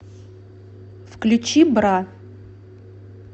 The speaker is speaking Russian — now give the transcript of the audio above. включи бра